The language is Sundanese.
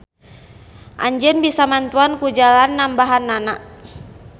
Anjeun bisa mantuan ku jalan nambahannana.